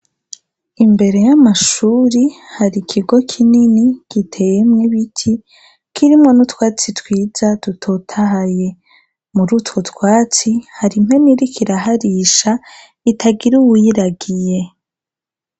Imbere y'amashuri hari ikigo kinini giteyemwo ibiti kirimwo n'utwatsi twiza dutotahaye muri utwo twatsi hari impene irikiraharisha itagire uwuyiragiye.